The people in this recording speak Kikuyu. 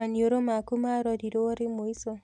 Maniũrũ maku marorirwo rĩ mũico